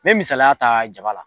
N mɛ misaliya ta jaba la